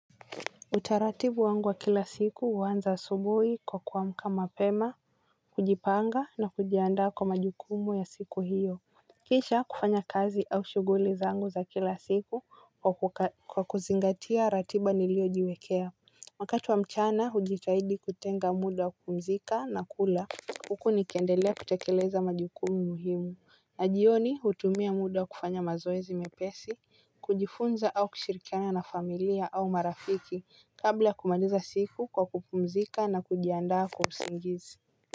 Utaratibu wangu wa kila siku huanza asubuhi kwa kuamka mapema, kujipanga na kujiandaa kwa majukumu ya siku hiyo kisha kufanya kazi au shughuli zangu za kila siku kwa kuzingatia ratiba niliyojiwekea wakati wa mchana hujitahidi kutenga muda wa kupumzika na kula huku nikiendelea kutekeleza majukumu muhimu na jioni hutumia muda kufanya mazoezi mepesi, kujifunza au kushirikiana na familia au marafiki kabla ya kumaliza siku kwa kupumzika na kujiandaa kwa usingizi.